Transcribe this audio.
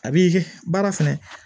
A b'i baara fɛnɛ